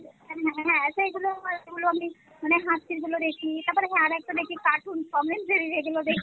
হ্যাঁ সেই গুলো হয় গুলো আমি মানে হাসির গুলো দেখি তারপরে হ্যাঁ আরো একটা দেখি cartoon tom & jerry এগুলো দেখি